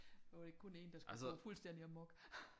Der var det ikke kun én der skulle gå fuldstændig amok